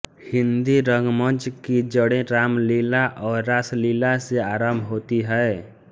हिन्दी रंगमंच की जड़ें रामलीला और रासलीला से आरम्भ होती हैं